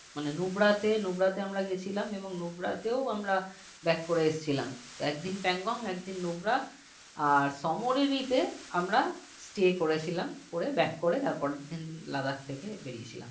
মানে Nubra তে Nubra আমরা গিয়েছিলাম এবং Nubra তে ও আমরা back করে আসছিলাম তো একদিন Pangong একদিন Nubra আর samorika তে আমরা stay করেছিলাম করে back করে তারপরের দিন Ladak থেকে বেরিয়েছিলাম